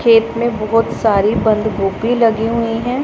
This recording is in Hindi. खेत में बहोत सारी बंद गोभी लगी हुई है।